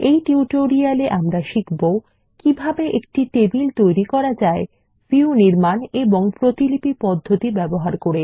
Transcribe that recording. এই টিউটোরিয়ালে আমরা শিখব কিভাবে একটি টেবিল তৈরি করা যায় ক ভিউ নির্মাণ ও খ প্রতিলিপি পদ্ধতি ব্যবহার করে